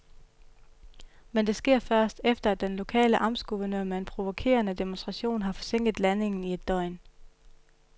Men det sker først, efter at den lokale amtsguvernør med en provokerende demonstration har forsinket landingen i et døgn.